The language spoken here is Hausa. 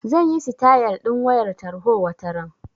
Zan yi sitayal ɗin wayar tarho wataran.